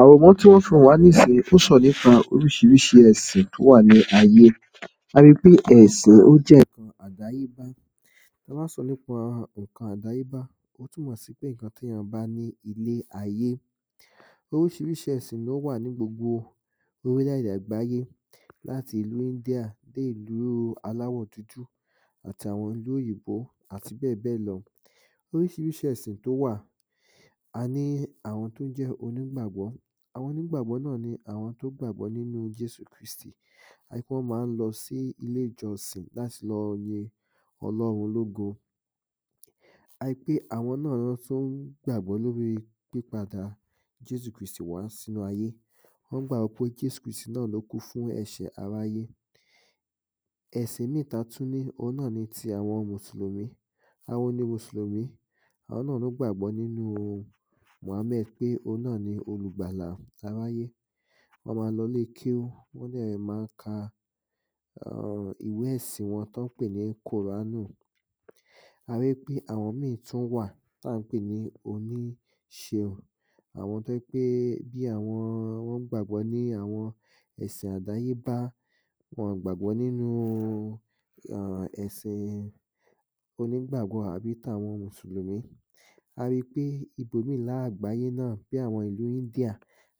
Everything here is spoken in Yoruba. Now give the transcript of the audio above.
Àwòrán tí wọ́n fi ràn wá nísìnyín ń sọ̀rọ̀ nípa rís̩irís̩i è̩sìn tó wà ní ayé. A ri pé è̩sìn ó jẹ́ nǹkan àdáyébá. Ta bá n sọ nípa nǹkan àdáyébá, ó túnmò̩ sí pé ǹkan tí èèyàn bá ní ilé ayé. Orís̩irís̩i è̩sìn ló wà ní gbogbo orílẹ̀-èdè àgbáyé; láti ìlu India dé ìlu aláwò̩ dúdú àti àwo̩n ilú òyìnbó àti bé̩è̩ bé̩è̩ lo̩. Orís̩irís̩i è̩sìn tó wà aní àwo̩n tó jé̩ onígbàgbó̩ àwo̩n onígbàgbó̩ na ni àwo̩n tó gbàgbó̩ nínu Jésù Krístì, a rí pé wó̩n má n lo̩ sí ilé ìjo̩sìn láti lo̩ ri o̩ló̩run ológo. A rí pé àwo̩n na wó̩n tún gbàgbo̩ lóri pípadà Jésù Krístì wá sínú ayé. Wó̩n gbàgbó̩ pé Jésù Krístì na ló kú fún è̩s̩è̩ aráyé. È̩sìn ìmí ta tún ní, òhun ná ni àwo̩n ti Mùsùlùmí, àwo̩n ni Mùsùlùmí, àwo̩n ná ló gbàgbó̩ nínu Mùhámè̩d pé òhun ná ni olùgbàlà aráyé, wó̩n má n lo̩ ilé kéwú wó̩n dè̩ má n ka um ìwé è̩sìn wo̩n tó̩n pè ní Kùránù. À rí pé àwo̩n ìmí tún wà tá n pè ní oníṣeun, àwo̩n tó jẹ́ wí pé bí àwo̩n wó̩n gbàgbó̩ ní àwo̩n è̩sìn àdáyébá. Wo̩n ò gbàgbó̩ nínu um è̩sin oní gbàgbó̩ àbí tàwo̩n Mùsùlùmí. A ri pé ibòmí lára àgbáyé náà bí ìlu India